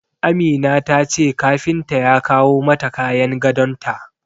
Amina ta ce kafinta ya kawo mata kayan gadon ta.